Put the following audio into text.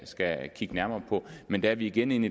kigge nærmere på men der er vi igen inde